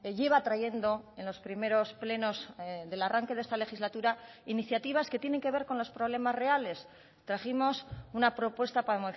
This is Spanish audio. lleva trayendo en los primeros plenos del arranque de esta legislatura iniciativas que tienen que ver con los problemas reales trajimos una propuesta para